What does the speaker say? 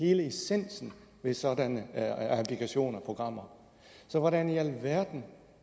hele essensen ved sådanne applikationer og programmer så hvordan i alverden